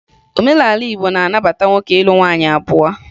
Omenala Igbo na-anabata nwoke ịlụ nwaanyị abụọ